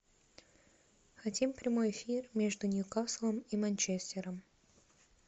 хотим прямой эфир между ньюкаслом и манчестером